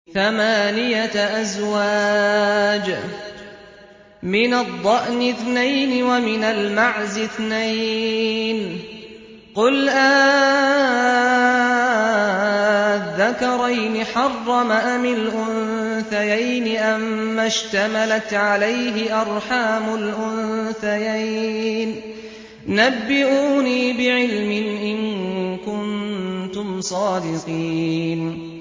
ثَمَانِيَةَ أَزْوَاجٍ ۖ مِّنَ الضَّأْنِ اثْنَيْنِ وَمِنَ الْمَعْزِ اثْنَيْنِ ۗ قُلْ آلذَّكَرَيْنِ حَرَّمَ أَمِ الْأُنثَيَيْنِ أَمَّا اشْتَمَلَتْ عَلَيْهِ أَرْحَامُ الْأُنثَيَيْنِ ۖ نَبِّئُونِي بِعِلْمٍ إِن كُنتُمْ صَادِقِينَ